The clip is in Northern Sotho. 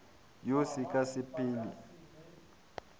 wo se ka se phele